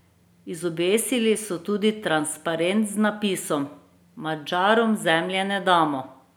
Izobesili so tudi transparent z napisom: "Madžarom zemlje ne damo!